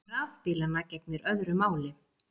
Um rafbílana gegnir öðru máli.